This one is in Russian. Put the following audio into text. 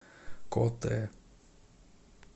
котэ